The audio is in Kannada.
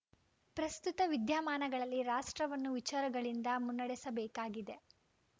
ಪ್ರಸ್ತುತ ವಿದ್ಯಾಮಾನಗಳಲ್ಲಿ ರಾಷ್ಟ್ರವನ್ನು ವಿಚಾರಗಳಿಂದ ಮುನ್ನಡೆಸಬೇಕಾಗಿದೆ